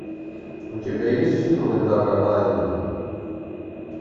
у тебя есть фильмы дага лаймана